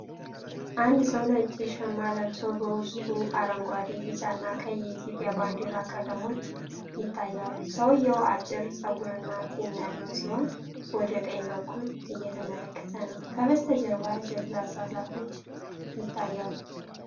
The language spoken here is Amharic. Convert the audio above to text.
አንድ ሰው ነጭ ሽማ ለብሶ በውስጡ አረንጓዴ፣ ቢጫ እና ቀይ የኢትዮጵያ ባንዲራ ቀለሞች ይታያሉ። ሰውየው አጭር ፀጉርና ጢም ያለው ሲሆን፤ ወደ ቀኝ በኩል እየተመለከተ ነው። ከበስተጀርባ ደብዛዛ ዛፎች ይታያሉ።